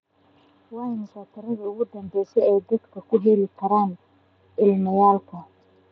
waa imisa tiradii ugu dambaysay ee dadka aan ka helay iimaylka